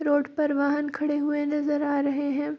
Road पर वाहन खड़े हुए नजर आ रहे है।